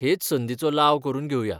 हेच संदीचो लाव करून घेवया .